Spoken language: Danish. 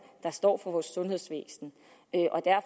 der står for vores sundhedsvæsen